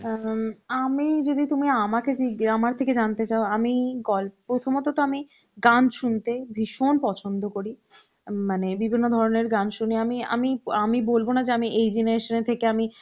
অ্যাঁ আমি যদি তুমি আমাকে জিজ্ঞে~ আমার থেকে জানতে চাও আমি গল্প প্রথমত তো আমি গান শুনতে ভীষণ পছন্দ করি উম মানে বিভিন্ন ধরনের গান শুনে আমি আমি বলব না যে আমি এই generation এ থেকে আমি